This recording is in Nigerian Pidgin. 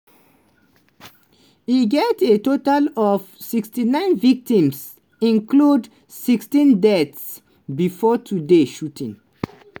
e get a total of 69 victims - including 16 deaths - bifor today shooting.